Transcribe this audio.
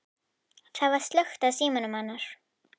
Það var slökkt á símanum hennar.